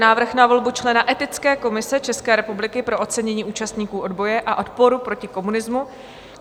Návrh na volbu člena Etické komise České republiky pro ocenění účastníků odboje a odporu proti komunismu